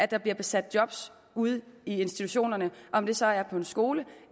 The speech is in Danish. der bliver besat job ude i institutionerne om det så er på skoler